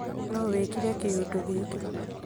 Nũwĩkire kĩũndũgĩkĩ?